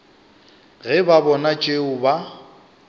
ge ba bona tšeo ba